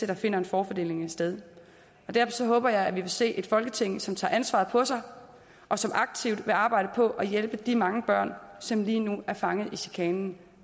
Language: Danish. der finder en forfordeling sted derfor håber jeg at vi vil se et folketing som tager ansvaret på sig og som aktivt vil arbejde på at hjælpe de mange børn som lige nu er fanget i chikanen